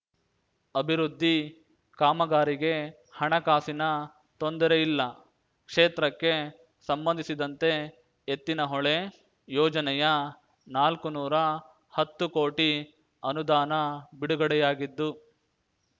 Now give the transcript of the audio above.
ಅಭಿವೃದ್ಧಿ ಕಾಮಗಾರಿಗೆ ಹಣಕಾಸಿನ ತೊಂದರೆಯಿಲ್ಲ ಕ್ಷೇತ್ರಕ್ಕೆ ಸಂಬಂಧಿಸಿದಂತೆ ಎತ್ತಿನಹೊಳೆ ಯೋಜನೆಯನಾಲ್ಕು ನೂರಾ ಹತ್ತು ಕೋಟಿ ಅನುದಾನ ಬಿಡುಗಡೆಯಾಗಿದ್ದು